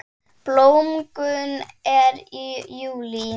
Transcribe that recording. Blómgun er í júlí.